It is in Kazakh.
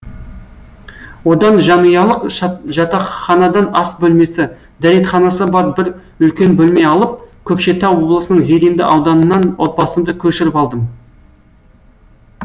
одан жанұялық жатақханадан ас бөлмесі дәретханасы бар бір үлкен бөлме алып көкшетау облысының зеренді ауданынан отбасымды көшіріп алдым